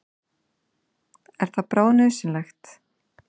Er það bráðnauðsynlegt?